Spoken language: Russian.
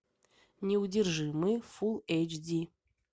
неудержимые фул эйч ди